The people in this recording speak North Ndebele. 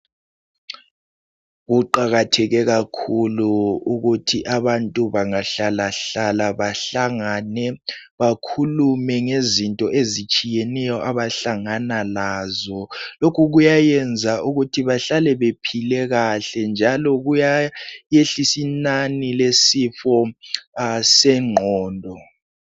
Kuqakatheke kakhulu ukuthi abantu bangahlala hlala bahlangane bakhulume ngezinto ezitshiyeneyo abahlangana lazo. Lokhu kuyayenza ukuthi bahlale bephile kahle njalo kuyayehlisa inani lesifo sengqondo.